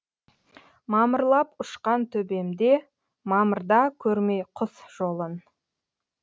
мамырлап ұшқан төбемде мамырда көрмей құс жолын